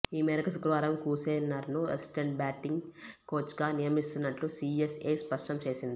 ఈ మేరకు శుక్రవారం క్లూసెనర్ను అసిస్టెంట్ బ్యాటింగ్ కోచ్గా నియమిస్తున్నట్లు సీఎస్ఏ స్పష్టం చేసింది